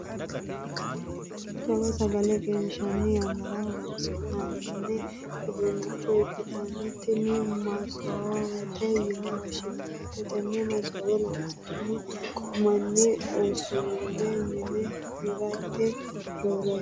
jawa sagale qishi'nanni yannara horonsi'nanni uduunnicho ikkitinoti tini, maasoowete yine woshshinannite. tenne maasoowe loosanno manni usuru mine heereeti roore yanna .